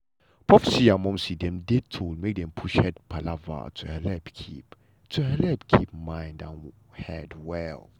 popsi and momsi dem dey told make dem push head palava to helep keep helep keep mind and head well.